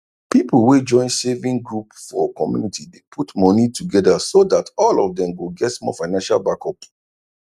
pipu wey join saving group for community dey put moni togeda so dat all of dem go get small financial backup